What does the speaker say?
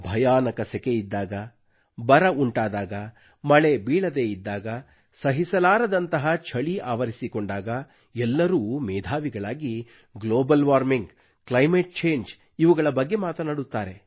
ಭಯಾನಕ ರೀತಿಯ ಸೆಕೆ ಇದ್ದಾಗ ಬರ ಉಂಟಾದಾಗ ಮಳೆ ಬೀಳದೇ ಇದ್ದಾಗ ಸಹಿಸಲಾರದಂತಹ ಛಳಿ ಆವರಿಸಿಕೊಂಡಾಗ ಎಲ್ಲರೂ ಮೇಧಾವಿಗಳಾಗಿ ಗ್ಲೋಬಲ್ ವಾರ್ಮಿಂಗ್ ಕ್ಲೈಮೇಟ್ ಚಂಗೆ ಇವುಗಳ ಬಗ್ಗೆ ಮಾತನಾಡುತ್ತಾರೆ